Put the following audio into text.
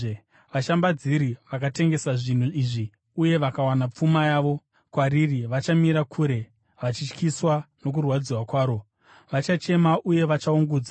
Vashambadziri vakatengesa zvinhu izvi uye vakawana pfuma yavo kwariri vachamira kure, vachityiswa nokurwadziwa kwaro. Vachachema uye vachaungudza